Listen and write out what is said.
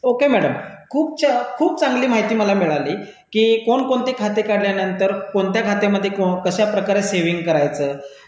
okay madam, खूप चांगली माहिती मला मिळाली की कोण कोणते खाते काढल्यानंतर कोणत्या खात्यामध्ये कशाप्रकारे सेविंग करायचं